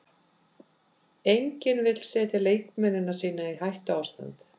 Enginn vill setja leikmennina sína í hættuástand.